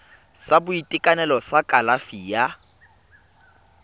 sa boitekanelo sa kalafi ya